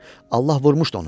Allah vurmuşdu onu.